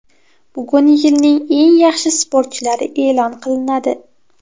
Bugun yilning eng yaxshi sportchilari e’lon qilinadi.